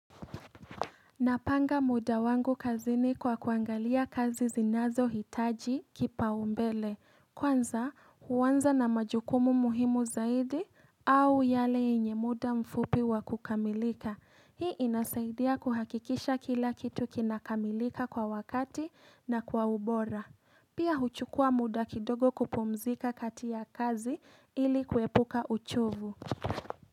Napanga muda wangu kazini kwa kuangalia kazi zinazohitaji kipa umbele. Kwanza huanza na majukumu muhimu zaidi au yale yenye muda mfupi wa kukamilika. Hii inasaidia kuhakikisha kila kitu kinakamilika kwa wakati na kwa ubora. Pia huchukua muda kidogo kupumzika kati ya kazi ili kuepuka uchovu.